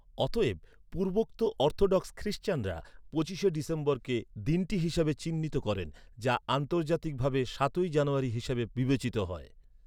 অতএব, পূর্বোক্ত অর্থোডক্স খ্রিস্টানরা পঁচিশে ডিসেম্বরকে দিনটি হিসেবে চিহ্নিত করেন, যা আন্তর্জাতিক ভাবে সাতই জানুয়ারি হিসেবে বিবেচিত হয়।